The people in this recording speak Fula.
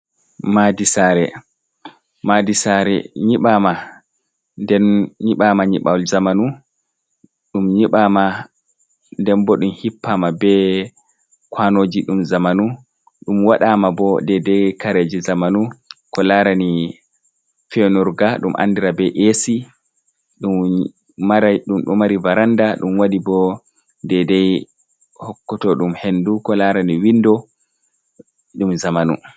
Madi saare, madi saare nyiɓama, den nyiɓawal zamanu ɗum nyibama nden bo ɗum hippama be kwanoji ɗum zamanu, ɗum waɗama bo dedei kareje zamanu ko larani feuurga ɗum andira be esi ɗum ɗum ɗo mari varanda ɗum wadi bo dedei hokkotoɗum hendu ko larani windo ɗum zamanu.